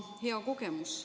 Hea kogemus.